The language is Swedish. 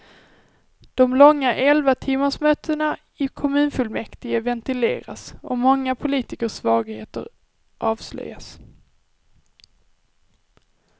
De långa elvatimmarsmötena i kommunfullmäktige ventileras och många politikers svagheter avslöjas.